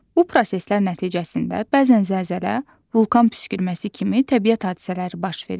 Bu proseslər nəticəsində bəzən zəlzələ, vulkan püskürməsi kimi təbiət hadisələri baş verir.